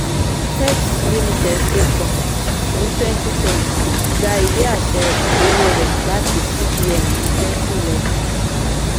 fets limited ṣé pọ ní 2010 gba ìwé-àṣẹ owó rẹ̀ láti cbn ní 2011.